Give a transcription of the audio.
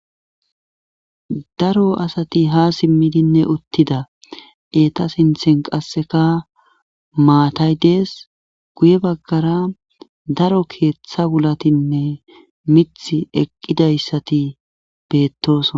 daro asati ha simmidinne uttida eta sinthen qasseka maatay dees guye baggara daro keeththa wulatinne mith eqqidayssati beettosona